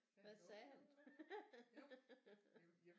Hvad sagde han